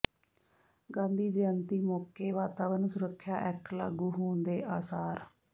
ਗਾਂਧੀ ਜੈਅੰਤੀ ਮੌਕੇ ਵਾਤਾਵਰਨ ਸੁਰੱਖਿਆ ਐਕਟ ਲਾਗੂ ਹੋਣ ਦੇ ਆਸਾਰ